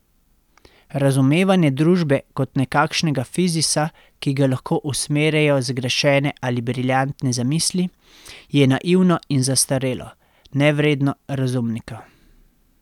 Razumevanje družbe kot nekakšnega fizisa, ki ga lahko usmerjajo zgrešene ali briljantne zamisli, je naivno in zastarelo, nevredno razumnika.